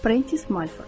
Prentice Multiford.